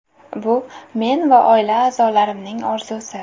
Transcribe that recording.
Bu men va oila a’zolarimning orzusi.